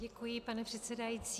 Děkuji, pane předsedající.